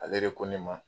Ale de ko ne ma